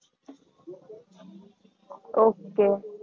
okay